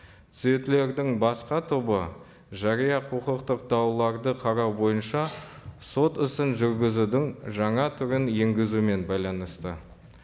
түзетулердің басқа тобы жария құқықтық дауларды қарау бойынша сот ісін жүргізудің жаңа түрін енгізумен байланысты